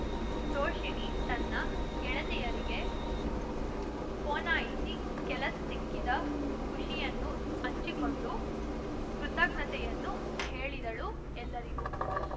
ತೋಷಿಣೀ ತನ್ನ ಗೆಳತಿಯರಿಗೆ ಪೋನಾಯಿಸಿ ಕೆಲಸ ಸಿಕ್ಕಿದ ಖುಷಿಯನ್ನು ಹಂಚಿಕೊಂಡು ಕೃತಜ್ಞತೆಯನ್ನು ಹೇಳಿದಳು ಎಲ್ಲರಿಗೂ